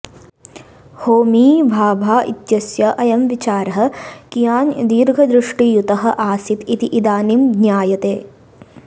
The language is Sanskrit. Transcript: होमी भाभा इत्यस्य अयं विचारः कियान् दीर्घदृष्टियुतः आसीत् इति इदानीं ज्ञायते